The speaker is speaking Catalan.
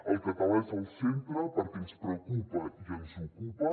el català és al centre perquè ens preocupa i ens ocupa